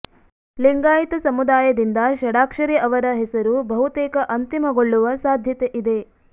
ಲಿಂಗಾಯಿತ ಸಮುದಾಯದಿಂದ ಷಡಾಕ್ಷರಿ ಅವರ ಹೆಸರು ಬಹುತೇಕ ಅಂತಿಮಗೊಳ್ಳುವ ಸಾಧ್ಯತೆ ಇದೆ